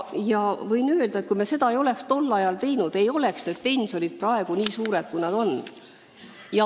Ma võin öelda, et kui me ei oleks seda tol ajal teinud, ei oleks pensionid praegu nii suured, kui nad on.